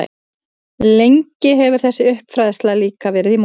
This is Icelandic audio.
Lengi hefur þessi uppfræðsla líka verið í molum.